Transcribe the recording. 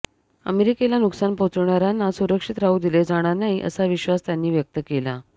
अमेरिकेला नुकसान पोहोचविणाऱयांना सुरक्षित राहू दिले जाणार नाही असा विश्वास त्यांनी व्यक्त केला